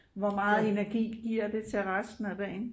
Hvor meget energi giver det til resten af dagen